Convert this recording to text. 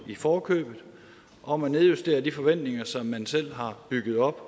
i forkøbet om at nedjustere de forventninger som man selv har bygget op